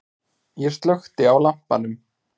Ég slökkti á lampanum.